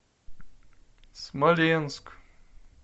смоленск